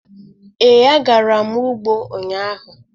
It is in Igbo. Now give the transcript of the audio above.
Ee, agara m ugbo ụnyahụ.